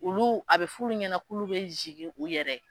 Olu a bɛ f'ulu ɲɛna k'ulu bɛ zigin u yɛrɛ ye.